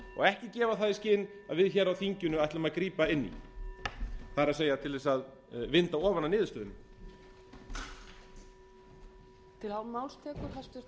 ekki gefa það í skyn að við hér á þinginu ætlum að grípa inn í það er til þess að vinda ofan af niðurstöðunni til þrettán fjörutíu og sjö tuttugu og sex